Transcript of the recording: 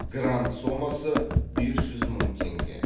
грант сомасы бес жүз мың теңге